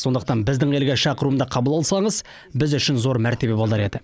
сондықтан біздің елге шақыруымды қабыл алсаңыз біз үшін зор мәртебе болар еді